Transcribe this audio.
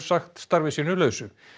sagt starfi sínu lausu